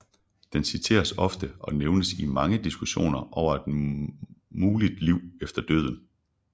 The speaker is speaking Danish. Den citeres ofte og nævnes i mange diskussioner over et muligt liv efter døden